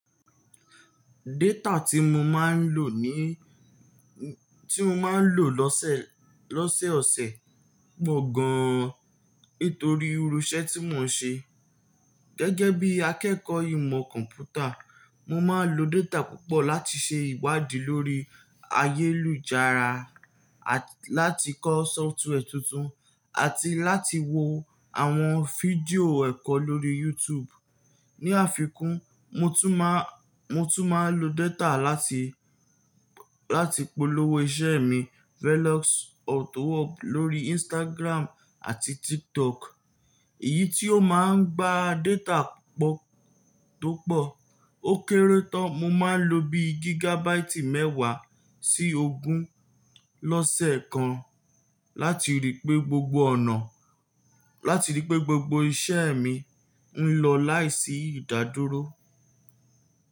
Data tí mo máa ń lò ní, tí mo máa ń lò lọ́sẹ̀, lọ́sẹ̀ ọ̀sẹ̀ pọ̀ gan an nítorí irú iṣẹ́ tí mò ń ṣe. Gẹ́gẹ́ bí akẹ́kọ̀ọ́ ìmọ̀ kọ̀ḿpútà, mo máa ń lo data púpọ̀ láti ṣe ìwádìí lórí ayélujára, àti láti kọ́ sọ́fútùwẹ̀ tuntun àti láti wo àwọn fídíò ẹ̀kọ́ lórí YouTube. Ni àfikún, mo tún máa, mo tún máa ń lo data láti, láti polówó iṣẹ́ mi Velox Auto Hub lórí Instagram àti TikTok. Èyí tí ó máa ń gba data púpọ̀ tó pọ̀. Ó kéré tán mo máa ń lo bí gígàbáìtì mẹ́wàá sí ogún lọ́sẹ̀ kan láti rí i pé gbogbo ọ̀nà, láti rí i pé gbogbo iṣẹ́ mi ń lọ láìsí ìdádúró.